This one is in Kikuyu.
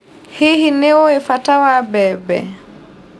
Hihi nĩũĩ bata wa mbembe.